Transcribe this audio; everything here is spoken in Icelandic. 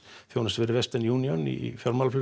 þjónusta fyrir union í